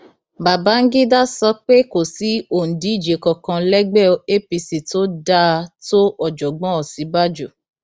babangida sọ pé kò sí òǹdíje kankan lẹgbẹ apc tó dáa tó ọjọgbọn òsínbàjò